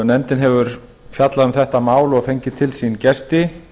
nefndin hefur fjallað um þetta mál og fengið til sín gesti